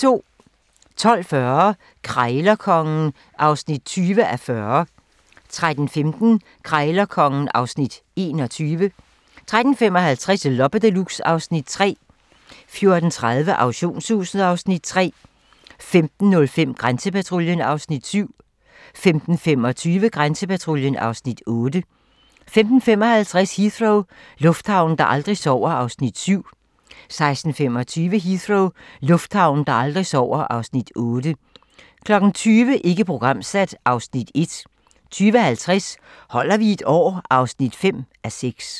12:40: Krejlerkongen (20:40) 13:15: Krejlerkongen (Afs. 21) 13:55: Loppe Deluxe (Afs. 3) 14:30: Auktionshuset (Afs. 3) 15:05: Grænsepatruljen (Afs. 7) 15:25: Grænsepatruljen (Afs. 8) 15:55: Heathrow - lufthavnen, der aldrig sover (Afs. 7) 16:25: Heathrow - lufthavnen, der aldrig sover (Afs. 8) 20:00: Ikke programsat (Afs. 1) 20:50: Holder vi et år? (5:6)